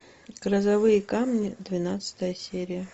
грозовые камни двенадцатая серия